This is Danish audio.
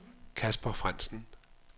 Casper Frandsen